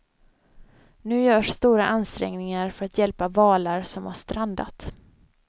Nu görs stora ansträngningar för att hjälpa valar som har strandat.